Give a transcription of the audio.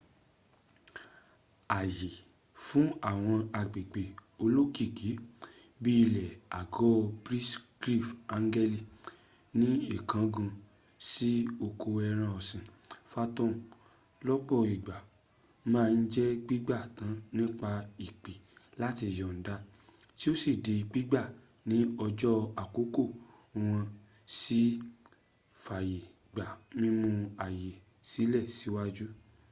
àyè fún àwọn agbègbè olókìkí bi ilè àgọ brighy angel ní ìkángun sí oko ẹran ọ̀sìn phantom lọ́pọ̀ ìgbà màa ń jẹ́ gbígbà tan nípa ìpè làti yọ̀nda tí o di gbígbà ní ọjọ́ àkọ́kọ́ wọn si fàyẹ̀ gba mímú àyè sílẹ̀ síwáájú